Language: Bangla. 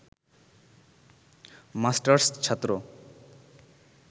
মাস্টার্স ছাত্র